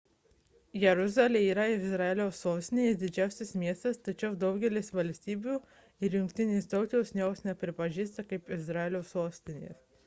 jeruzalė yra izraelio sostinė ir didžiausias miestas tačiau daugelis valstybių ir jungtinės tautos jos nepripažįsta kaip izraelio sostinės